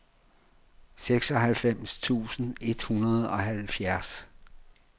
seksoghalvfems tusind et hundrede og halvfjerds